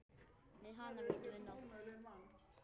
Með hana viltu vinna.